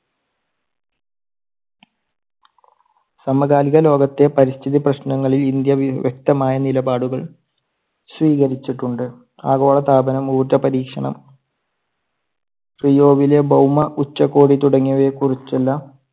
സമകാലിക ലോകത്തെ പരിസ്ഥിതി പ്രശ്നങ്ങളിൽ ഇന്ത്യ വ്യ~വ്യക്തമായ നിലപാടുകൾ സ്വീകരിച്ചിട്ടുണ്ട്. ആഗോള താപനം, ഉർജ്ജപരീക്ഷണം, റിയോയിലെ ഭൗമ ഉച്ചകോടി തുടങ്ങിയവയെ കുറിച്ചെല്ലാം